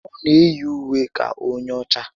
O na eyi ùwé ka onye ọchá